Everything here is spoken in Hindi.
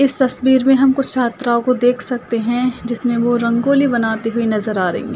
इस तस्वीर में हम कुछ छात्राओं को देख सकते हैं जिसमें वो रंगोली बनाती हुई नज़र आ रही हैं।